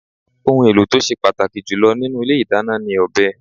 Ohùn èlò tí o sé pàtàkì jùlọ nínú Ilé ìdáná ni ọ̀bẹ